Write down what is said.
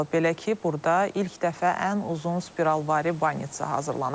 Belə ki, burda ilk dəfə ən uzun spiralvari banitsa hazırlanıb.